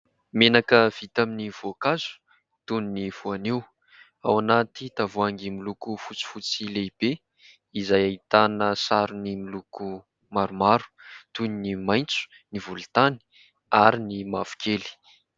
Menaka vita amin'ny voankazo toy ny voanio, ao anaty tavoahangy miloko fotsifotsy lehibe, izay ahitana sarony miloko maromaro toy ny : maitso, ny volontany, ary ny mavokely.